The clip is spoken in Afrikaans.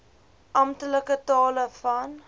amptelike tale van